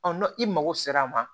n'o i mago sera a ma